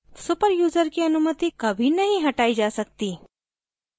super user की अनुमति कभी नहीं हटाई जा सकती